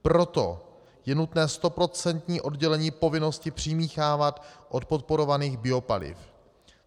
Proto je nutné stoprocentní oddělení povinnosti přimíchávat od podporovaných biopaliv.